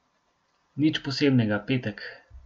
Nič posebnega, petek.